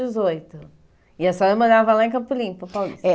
dezoito? E a senhora morava lá em Campo Limpo, Paulista? É